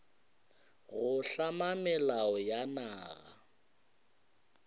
go hlama melao ya naga